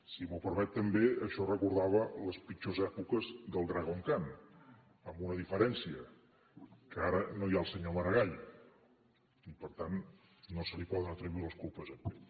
si m’ho permet també això recordava les pitjors èpoques del dragon khan amb una diferència que ara no hi ha el senyor maragall i per tant no se li poden atribuir les culpes a ell